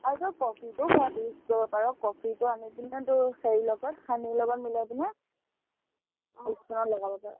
আৰু তই কফিটো ঘৰত use কৰিব পাৰ, কফিটো আনি কিনে তোৰ হেৰিৰ লগত honey ৰ লগত মিলাই কিনে আহ skin ত লগাব পাৰ